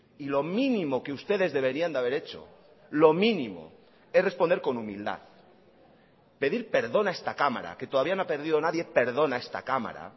y lo mínimo que ustedes deberían de haber hecho lo mínimo es responder con humildad pedir perdón a esta cámara que todavía no ha perdido nadie perdón a esta cámara